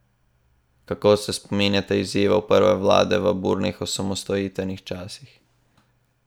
Kako se spominjate izzivov prve vlade v burnih osamosvojitvenih časih?